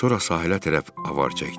Sonra sahilə tərəf avar çəkdi.